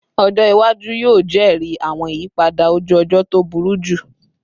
Ọjọ iwaju yoo jẹri awọn iyipada oju-ọjọ to buruju